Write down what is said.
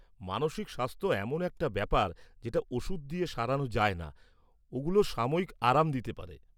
-মানসিক স্বাস্থ্য এমন একটা ব্যাপার যেটা ওষুধ দিয়ে সারানো যায়না, ওগুলো সাময়িক আরাম দিতে পারে।